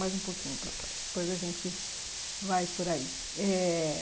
Mais um popuquinho para trás depois a gente vai por aí eh